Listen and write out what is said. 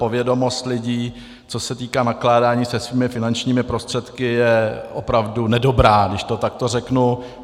Povědomost lidí, co se týká nakládání se svými finančními prostředky, je opravdu nedobrá, když to takto řeknu.